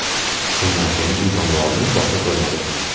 Shundan so‘ng u jonivorni boshqa ko‘rmadi.